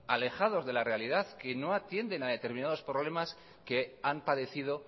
alejados de la realidad que no atienden a determinados problemas que han padecido